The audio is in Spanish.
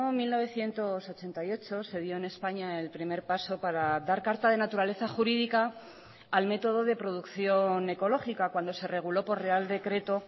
mil novecientos ochenta y ocho se dio en españa el primer paso para dar carta de naturaleza jurídica al método de producción ecológica cuando se reguló por real decreto